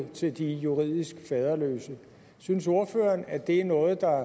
til de juridisk faderløse synes ordføreren at det er noget der